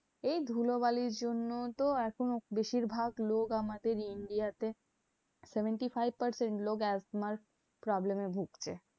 এই ধুলো বালির জন্য তো এখন বেশিরভাগ লোক আমাদের India তে, seventy-five percent লোক asthma র problem এ ভুগছে।